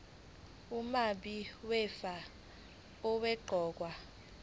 umabi wefa owaqokwa